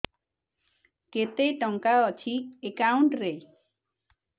କେତେ ଟଙ୍କା ଅଛି ଏକାଉଣ୍ଟ୍ ରେ